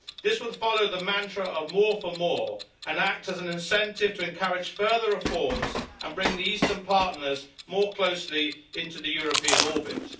This would follow the mantra of more for more' and act as an incentive to encourage further reforms and bring the Eastern partners more closely into the European orbit.